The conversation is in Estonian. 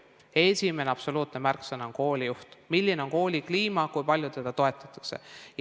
Esimene absoluutne märksõna on koolijuht, see, milline on kooli kliima, kui palju toetatakse.